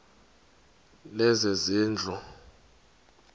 lezezindlu